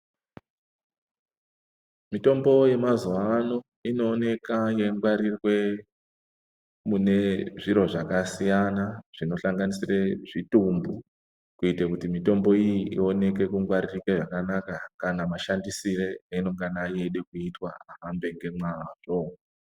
Mitombo yemazuva ano inoonekwa yeingwarirwe mune zviro zvakasiyana zvinosanganisira Zvitumbu kuita kuti mitombo iyi ionekwe kungwarika zvakanaka kana mashandisiro avanenge vachida kuita ahambe nemazvo.